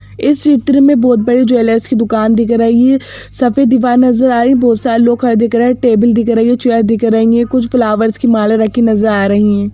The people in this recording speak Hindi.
इस चित्र में बहुत बड़ी ज्वेलर्स की दुकान दिख रही हैं सफेद दीवार नजर आ रही हैं बहुत सारे लोग खड़े दिख रहा हैं टेबल दिख रही है चेयर दिख रही हैं कुछ फ्लावर्स की माला रखी नजर आ रही हैं।